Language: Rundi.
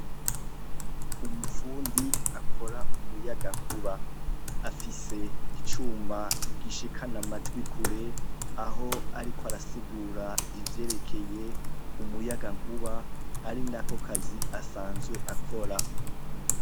Umufundi akora umuyagankuba, afise icuma gishikana amajwi kure aho ariko arasigura ivyerekeye umuyagankuba ari nako kazi asanzwe akora.